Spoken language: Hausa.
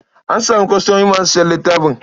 An samu kwastomomi masu sayan littafin.